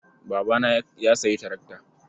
Babana ya sayi tarakta.